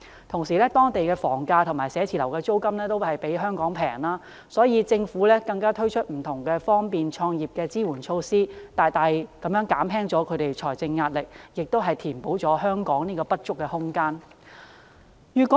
同時，當地的房價和寫字樓租金也較香港便宜，而且政府更推出不同方便創業的支援措施，大大減輕了他們的財政壓力，亦填補了香港這方面的不足。